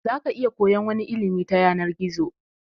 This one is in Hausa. Zaka iya koyan wani ilimi ta yanar gizo